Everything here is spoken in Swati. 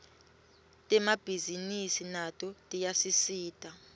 temabhisinisi nato tiyasisita